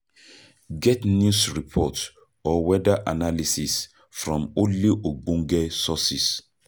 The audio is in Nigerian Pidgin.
Get news report or weather analysis from only ogbenge sources